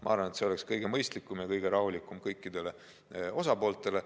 Ma arvan, et see oleks kõige mõistlikum ja kõige rahulikum lahendus kõikidele osapooltele.